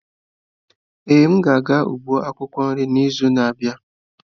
Ee, m ga-aga ugbo akwukwo nri n'izu na-abịa.